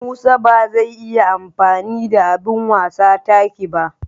Musa ba zai iya amfani da abin wasa taki ba.